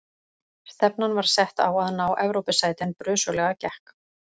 Stefnan var sett á að ná Evrópusæti en brösuglega gekk.